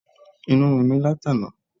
Inú ń run mí látàná.